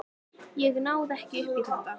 Ég náði ekki upp í þetta.